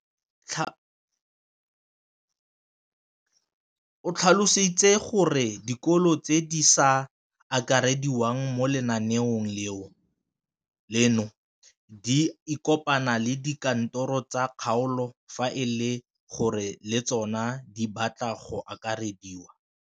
O tlhalositse gore dikolo tse di sa akarediwang mo lenaaneng leno di ikopanye le dikantoro tsa kgaolo fa e le gore le tsona di batla go akarediwa.